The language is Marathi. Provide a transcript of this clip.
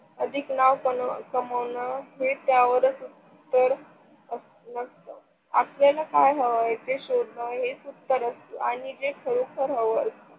अधिक नाव कमावण ही त्यावरच उत्तर असलाच आपल्याला काय हवंय ते शोधण हेच उत्तर असत आणि ते खरोखर हवंय.